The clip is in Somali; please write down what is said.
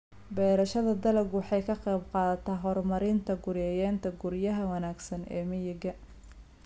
Beerashada dalaggu waxay ka qaybqaadataa horumarinta guryaynta guryaha wanaagsan ee miyiga.